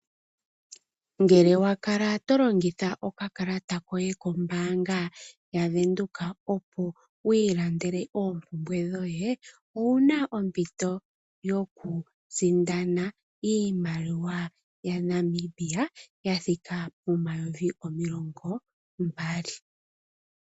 Ngele wa kala to longitha okakalata koye kombaanga yavenduka opo wiilandele oompumbwe dhoye ouna ompito yokusindana iimaliwa yaNamibia yathika pomayovi omilongo mbali.